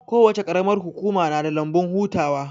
Kowace qaramar hukuma na da lambun hutawa